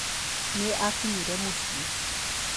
Nĩ aakinyire mũciĩ.